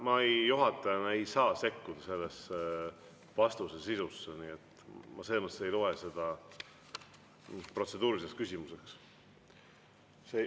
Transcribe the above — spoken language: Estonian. Ma juhatajana ei saa sekkuda vastuse sisusse, seepärast ma ei loe seda protseduuriliseks küsimuseks.